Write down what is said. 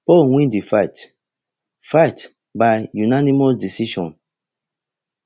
paul win di fight fight by unanimous decision